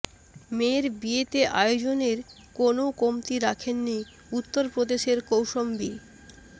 মেয়ের বিয়েতে আয়োজনের কোনও কমতি রাখেননি উত্তর প্রদেশের কৌশম্বি